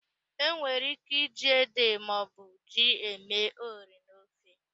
E nwere íké iji ede maọbụ ji eme ụrị n'ofe.